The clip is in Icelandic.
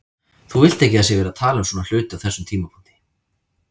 Þú vilt ekki að það sé verið að tala um svona hluti á þessum tímapunkti.